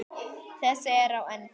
Þessi er á enda.